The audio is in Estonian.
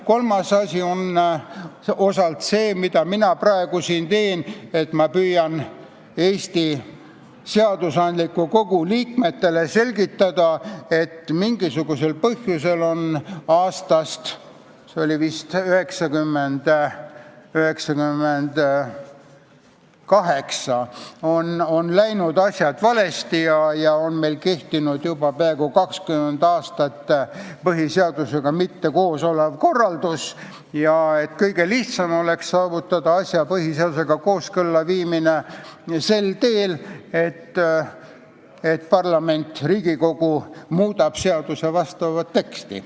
Kolmas meetod on osalt see, mida mina praegu siin teen, püüdes Eesti seadusandliku kogu liikmetele selgitada, et mingisugusel põhjusel on vist aastast 1998 läinud asjad valesti, meil on juba peaaegu 20 aastat kehtinud põhiseadusega kooskõlas mitteolev korraldus ja kõige lihtsam oleks saavutada põhiseadusega kooskõlla viimine sel teel, et Riigikogu muudab seaduse teksti.